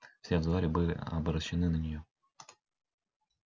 все взоры были обращены на неё